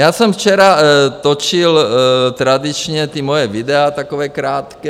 Já jsem včera točil tradičně ta svoje videa, taková krátká.